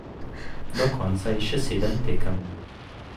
Do konca je še sedem tekem.